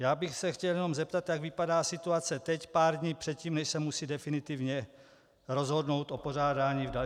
Já bych se chtěl jenom zeptat, jak vypadá situace teď pár dní před tím, než se musí definitivně rozhodnout o pořádání v dalších letech.